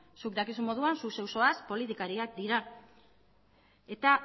zuk dakizun moduan zu zeu zoaz politikariak dira eta